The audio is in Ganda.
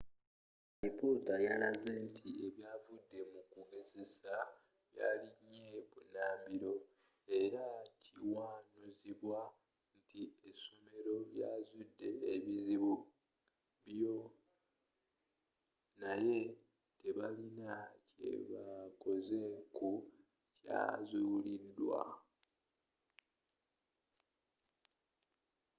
alipoota yalaze nti ebyavudde mu kugezesa byalinye bunambiro era nga kiwanuuzibwa nti essomero lyazudde ebizibu bio naye tebalina kyebakoze ku byazuulidwa